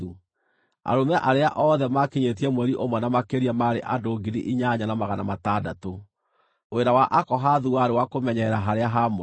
Arũme arĩa othe maakinyĩtie mweri ũmwe na makĩria maarĩ andũ 8,600. Wĩra wa Akohathu warĩ wa kũmenyerera harĩa haamũre.